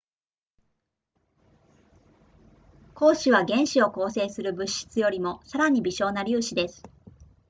光子は原子を構成する物質よりもさらに微小な粒子です